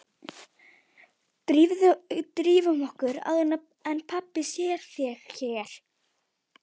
Drífum okkur upp áður en pabbi sér þig hérna